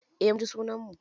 Eh, mun ji sunan mu.